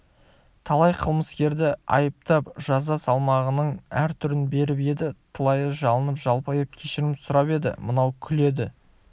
талай кылмыскерді айыптап жаза салмағының әр түрін беріп еді талайы жалынып-жалпайып кешірім сұрап еді мынау күледі